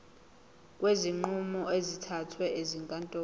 kwezinqumo ezithathwe ezinkantolo